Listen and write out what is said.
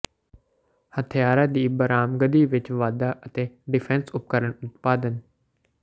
ਹਥਿਆਰਾਂ ਦੀ ਬਰਾਮਦਗੀ ਵਿੱਚ ਵਾਧਾ ਅਤੇ ਡਿਫ਼ੈਸ ਉਪਕਰਨ ਉਤਪਾਦਨ